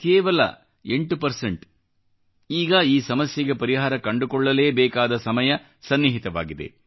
ಕೇವಲ 8 ಈಗ ಈ ಸಮಸ್ಯೆಗೆ ಪರಿಹಾರ ಕಂಡುಕೊಳ್ಳಲೇಬೇಕಾದ ಸಮಯ ಸನ್ನಿಹಿತವಾಗಿದೆ